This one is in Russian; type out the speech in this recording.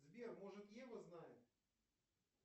сбер может ева знает